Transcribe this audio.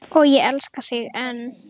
Og ég elska þig enn.